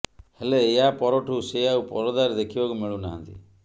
ହେଲେ ଏହା ପରଠୁ ସେ ଆଉ ପରଦାରେ ଦେଖିବାକୁ ମିଳୁନାହାନ୍ତି